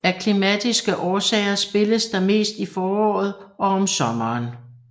Af klimatiske årsager spilles der mest i foråret og om sommeren